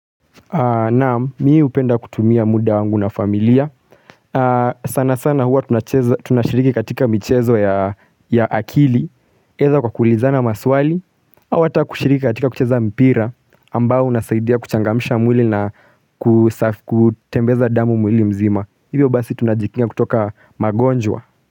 Naam mii upenda kutumia muda wangu na familia sana sana huwa tunashiriki katika michezo ya akili either kwa kulizana maswali au hata kushiriki katika kucheza mpira ambao unasaidia kuchangamsha mwili na kutembeza damu mwili mzima Hivyo basi tunajikinga kutoka magonjwa.